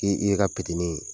I i y'i ka petinin ye